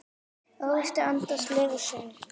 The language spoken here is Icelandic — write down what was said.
Ávextir andans leiða söng.